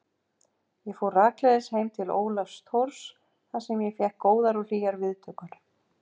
Ég fór rakleiðis heim til Ólafs Thors þar sem ég fékk góðar og hlýjar viðtökur.